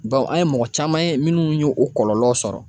an ye mɔgɔ caman ye minnu y'o kɔlɔlɔ sɔrɔ.